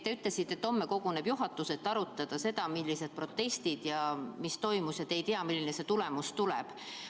Te ütlesite, et homme koguneb juhatus, et arutada, millised olid protestid ja mis toimus, ning te ei tea, milline see tulemus tuleb.